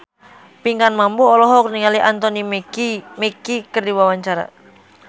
Pinkan Mambo olohok ningali Anthony Mackie keur diwawancara